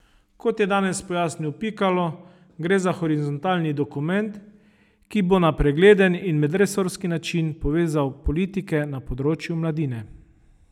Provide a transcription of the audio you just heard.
Kot je danes pojasnil Pikalo, gre za horizontalni dokument, ki bo na pregleden in medresorski način povezal politike na področju mladine.